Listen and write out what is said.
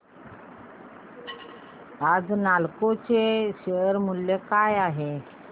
आज नालको चे शेअर मूल्य काय आहे